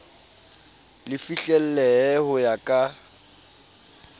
le fihlellehe ho ya ka